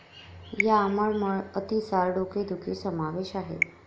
या मळमळ, अतिसार, डोकेदुखी समावेश आहे.